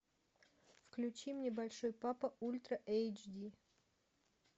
включи мне большой папа ультра эйч ди